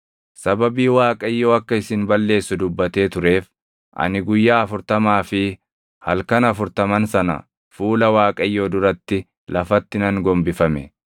Sababii Waaqayyo akka isin balleessu dubbatee tureef ani guyyaa afurtamaa fi halkan afurtaman sana fuula Waaqayyoo duratti lafatti nan gombifame.